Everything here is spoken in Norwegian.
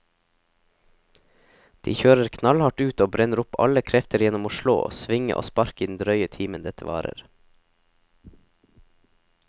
De kjører knallhardt ut og brenner opp alle krefter gjennom å slå, svinge og sparke i den drøye timen dette varer.